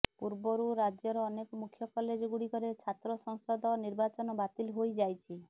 ପୂର୍ବରୁ ରାଜ୍ୟର ଅନେକ ମୁଖ୍ୟ କଲେଜ ଗୁଡିକରେ ଛାତ୍ର ସଂସଦ ନିର୍ବାଚନ ବାତିଲ ହୋଇଯାଇଛି